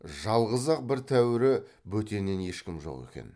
жалғыз ақ бір тәуірі бөтеннен ешкім жоқ екен